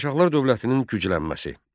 Şirvanşahlar dövlətinin güclənməsi.